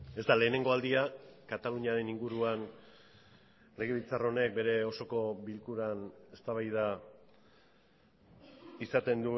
ez da lehenengo aldia kataluniaren inguruan legebiltzar honek bere osoko bilkuran eztabaida izaten